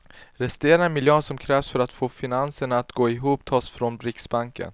Resterande miljarder som krävs för att få finanserna att gå ihop tas från riksbanken.